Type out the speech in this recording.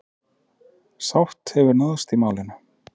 Sátt hefur náðst í málinu.